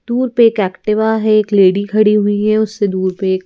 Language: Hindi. दूर पे एक एक्टिवा है एक लेडी खड़ी हुई है उससे दूर पे एक --